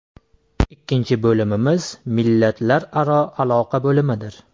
Ikkinchi bo‘limimiz millatlararo aloqalar bo‘limidir.